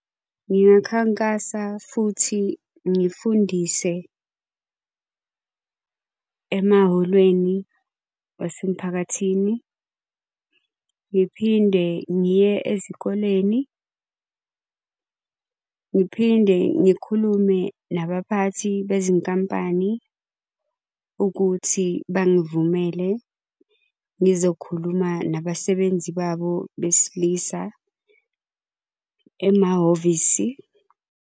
Ngiyokhankasa futhi ngifundise emahholweni wasemphakathini. Ngiphinde ngiye ezikoleni. Ngiphinde ngikhulume nabaphathi bezinkampani, ukuthi bangivumele ngizokhuluma nabasebenzi babo besilisa emahhovisi.